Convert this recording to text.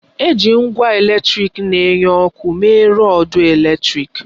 Eji ngwa eletrịk na-enye ọkụ mee rọdu eletrịk.